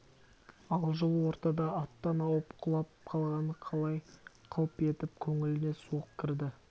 ал жол ортада аттан ауып құлап қалғаны қалай қылп етіп көңіліне суық кірді